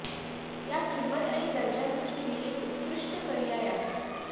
या किंमत आणि दर्जा दृष्टीने एक उत्कृष्ट पर्याय आहे